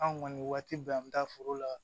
Anw kɔni waati bɛɛ an bi taa foro la